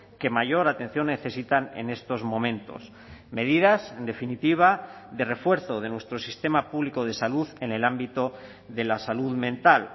que mayor atención necesitan en estos momentos medidas en definitiva de refuerzo de nuestro sistema público de salud en el ámbito de la salud mental